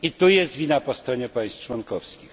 I tu jest wina po stronie państw członkowskich.